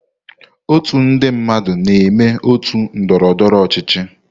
Otu ndị mmadụ na-eme otu ndọrọ ndọrọ ọchịchị.